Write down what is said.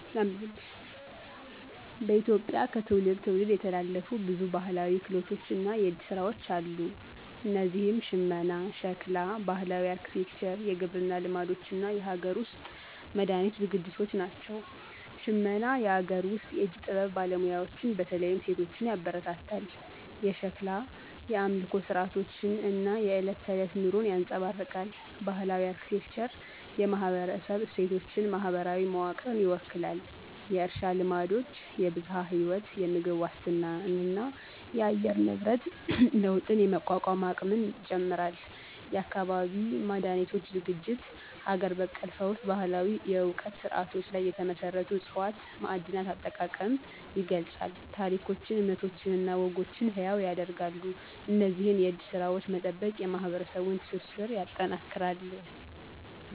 በኢትዮጵያ ከትውልድ ትውልድ የተላለፉ ብዙ ባህላዊ ክህሎቶች እና የእጅ ስራዎች አሉ። እነዚህም ሽመና፣ ሸክላ፣ ባህላዊ አርክቴክቸር፣ የግብርና ልማዶች እና የሀገር ውስጥ መድሃኒት ዝግጅቶች ናቸው። ሽመና - የአገር ውስጥ የእጅ ጥበብ ባለሙያዎችን በተለይም ሴቶችን ያበረታታል። የሸክላ - የአምልኮ ሥርዓቶችን እና የዕለት ተዕለት ኑሮን ያንፀባርቃል። ባህላዊ አርክቴክቸር - የማህበረሰብ እሴቶችን፣ ማህበራዊ መዋቅርን ይወክላል። የእርሻ ልማዶች -የብዝሃ ህይወት፣ የምግብ ዋስትናንና የአየር ንብረት ለውጥን የመቋቋም አቅም ይጨምራል። የአካባቢ መድሃኒቶች ዝግጅት -ሀገር በቀል ፈውስ ባህላዊ የእውቀት ስርዓቶች ላይ የተመሰረቱ ዕፅዋት፣ ማዕድናት አጠቃቀም ይገልፃል። ታሪኮችን፣ እምነቶችን እና ወጎችን ሕያው ያደርጋሉ። እነዚህን የእጅ ስራዎች መጠበቅ የማህበረሰቡን ትስስር ያጠናክራል።